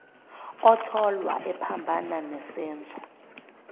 otholwa ephambana nesenzo